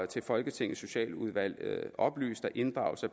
til folketingets socialudvalg oplyst at inddragelse